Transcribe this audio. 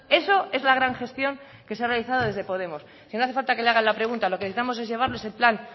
esa es la gran gestión que se ha realizado desde podemos si no hace falta que le hagan la pregunta lo que necesitamos es llevarles el plan